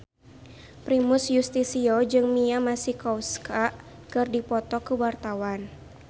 Primus Yustisio jeung Mia Masikowska keur dipoto ku wartawan